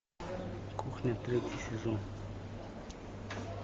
кухня третий сезон